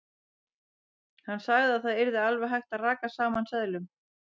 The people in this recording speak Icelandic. Hann sagði að það yrði alveg hægt að raka saman seðlum.